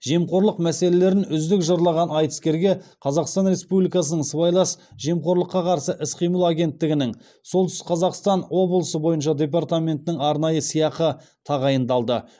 жемқорлық мәселелерін үздік жырлаған айтыскерге қазақстан республикасының сыбайлас жемқорлыққа қарсы іс қимыл агенттігінің солтүстік қазақстан облысы бойынша департаментінен арнайы сыйақы тағайындалды